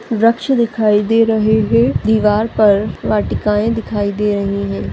वृक्ष दिखाई दे रहे है दीवार पर वाटिकाए दिखाई दे रही है।